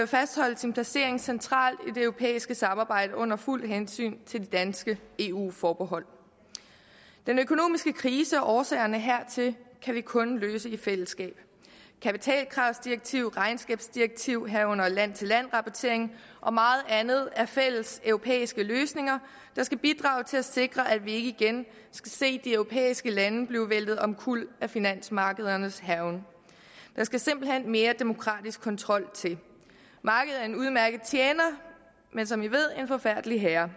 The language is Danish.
fastholde sin placering centralt i det europæiske samarbejde under fuldt hensyn til de danske eu forbehold den økonomiske krise og årsagerne hertil kan vi kun løse i fællesskab kapitalkravsdirektiv regnskabsdirektiv herunder land til land rapportering og meget andet er fælles europæiske løsninger der skal bidrage til at sikre at vi ikke igen skal se de europæiske lande bliver væltet omkuld af finansmarkedernes hærgen der skal simpelt hen mere demokratisk kontrol til markedet er en udmærket tjener men som vi ved en forfærdelig herre